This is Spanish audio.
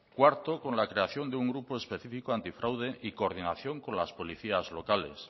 cuarto con la creación de un grupo específico anti fraude y coordinación con las policías locales